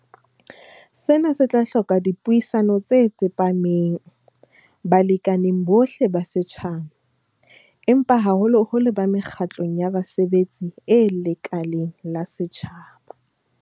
Sena se tla hloka dipuisano tse tsepameng balekaneng bohle ba setjhaba, empa haholoholo ba mekgatlong ya basebetsi e lekaleng la setjhaba.